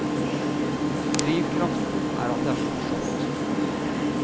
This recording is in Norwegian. Drivkraften er at det er så morsomt.